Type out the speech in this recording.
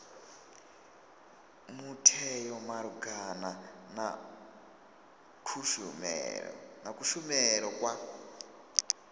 mutheo malugana na kushumele kwa